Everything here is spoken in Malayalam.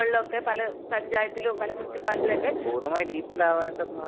പൂർണ്ണമായി ഡിജിറ്റലാവേണ്ട ഭാഗത്ത് ഭാഗാണല്ലേ?.